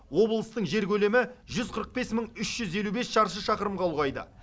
облыстың жер көлемі жүз қырық бес мың үш жүз елу бес шаршы шақырымға ұлғайды